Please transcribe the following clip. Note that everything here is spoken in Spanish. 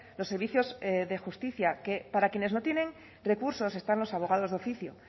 los servicios de justicia que para quienes no tienen recursos están los abogados de oficio